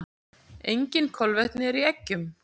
Engin kolvetni eru í eggjum.